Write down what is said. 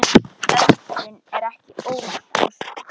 Öldrun er ekki óvænt ástand.